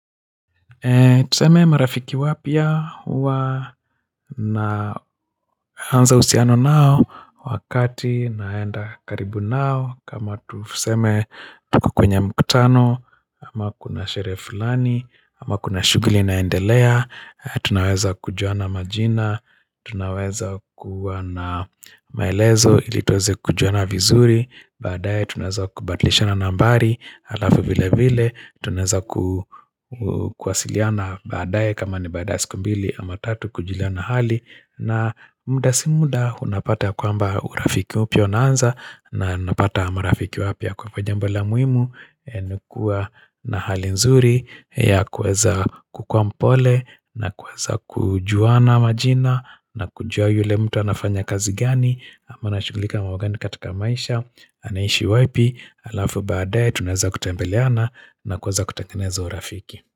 Tuseme marafiki wapya huwa naanza uhusiano nao wakati naenda karibu nao kama tuseme tuko kwenye mikutano ama kuna sherehe fulani ama kuna shughuli naendelea Tunaweza kujuana majina, tunaweza kuwa na maelezo ili tuweze kujuana vizuri baadae tunaweza kubadilishana nambari alafu vile vile tunaweza kuwasiliana baadae kama ni baada ya siku mbili ama tatu kujuliana hali na muda si muda unapata kwamba urafiki upya unaanza na napata marafiki wapya kwa hivo jambo la muhimu nakua na hali nzuri ya kuweza kukua mpole na kuweza kujuana majina na kujua yule mtu anafanya kazi gani ama anashughulika na mambo gani katika maisha anaishi wapi alafu baadae tunaza kutembeleana na kuanza kutakeneza urafiki.